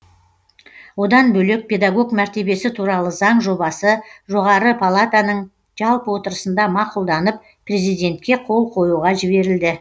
одан бөлек педагог мәртебесі туралы заң жобасы жоғары палатаның жалпы отырысында мақұлданып президентке қол қоюға жіберілді